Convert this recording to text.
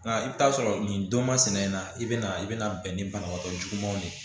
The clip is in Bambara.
Nka i bɛ taa sɔrɔ nin don masina in na i bɛ na i bɛna bɛn ni banabaatɔ jugumanw de ye